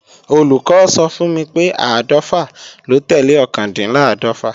Olùkọ́ sọ fún mi pé áàdọ́fà ló tẹ́lẹ̀ ọkàndínláàdọ́fà